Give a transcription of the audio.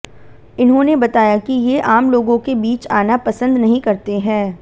इन्होंने बताया कि ये आम लोगों के बीच आना पसंद नहीं करते हैँ